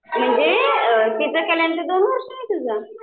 म्हणजे तिजं केल्यांनतर दोन वर्षानं तुझं?